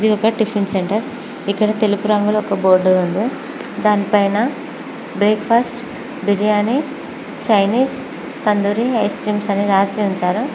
ఇది ఒక tiffin centre ఇక్కడ తెలుగు రంగులో ఒక బోర్డు ఉంది దానిపైన breakfast biryani Chinese tandoori ice creams అని రాసి ఉంచారు.